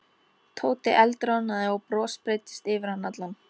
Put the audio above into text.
Tóti eldroðnaði og bros breiddist yfir hann allan.